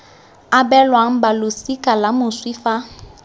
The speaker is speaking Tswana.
abelwang balosika la moswi fa